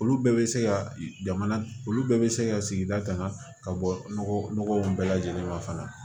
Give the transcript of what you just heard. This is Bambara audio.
Olu bɛɛ bɛ se ka jamana olu bɛɛ bɛ se ka sigida tanga ka bɔ nɔgɔw bɛɛ lajɛlen kan fana